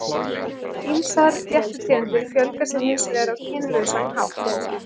Ýmsar fléttutegundir fjölga sér hins vegar á kynlausan hátt.